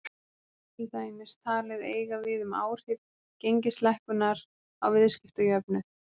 Þetta er til dæmis talið eiga við um áhrif gengislækkunar á viðskiptajöfnuð.